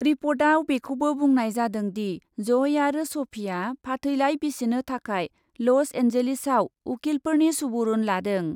रिपर्टआव बेखौबो बुंनाय जादोंदि, जइ आरो सफिआ फाथैलाइ बिसिनो थाखाय लस एनजेलिसआव उखिलफोरनि सुबुरुन लादों।